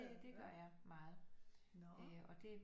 Det gør jeg meget øh og det